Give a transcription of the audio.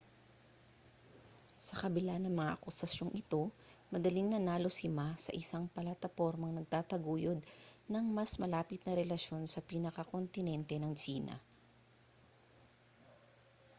sa kabila na mga akusasyong ito madaling nanalo si ma sa isang platapormang nagtataguyod ng mas malapit na relasyon sa pinakakontinente ng tsina